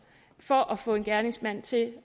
for at få en gerningsmand til